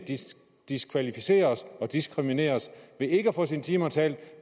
diskvalificeres og diskrimineres ved ikke at få sine timer talt